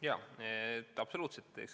Jaa, absoluutselt!